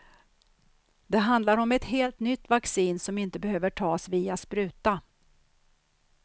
Det handlar om ett helt nytt vaccin som inte behöver tas via spruta.